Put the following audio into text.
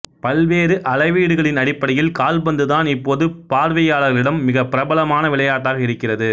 பல்வேறு அளவீடுகளின் அடிப்படையில் கால்பந்து தான் இப்போது பார்வையாளர்களிடம் மிகப் பிரபலமான விளையாட்டாக இருக்கிறது